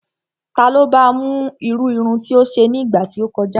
Ta ló ba mú irú irun tí ó ṣe ní ìgbà tí ó kọjá?